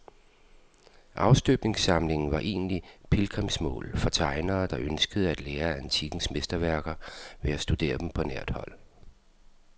Afstøbningssamlingen var engang pilgrimsmål for tegnere, der ønskede at lære af antikkens mesterværker ved at studere dem på nært hold.